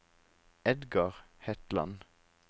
Edgar Hetland